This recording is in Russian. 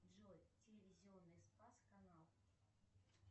джой телевизионный спас канал